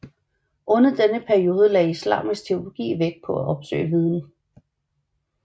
Under denne periode lagde islamisk teologi vægt på at opsøge viden